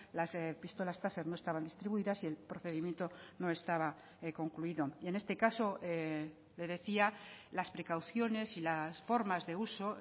las pistolas taser no estaban distribuidas y el procedimiento no estaba concluido y en este caso le decía las precauciones y las formas de uso